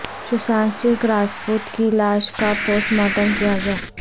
سوشانت سنگھ راجپوت کی لاش کا پوسٹ مارٹم کیا گیا